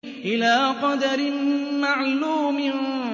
إِلَىٰ قَدَرٍ مَّعْلُومٍ